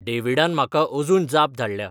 डेवीडान म्हाका अजून जाप धाडल्या